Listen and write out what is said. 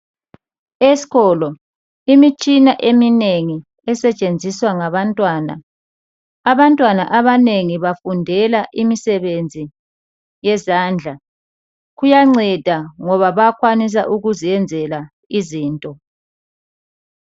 Eskolo imitshina eminengi esetshenziswa ngabantwana, abantwana abanengi bafundela imisebenzi yezandla kuyanceda ngoba bayakwanisa ukuziyenzela izinto.